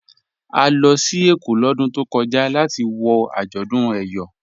À lọ sí Ékó lódún tó kọja latí wọ ajọ́dún Eyọ.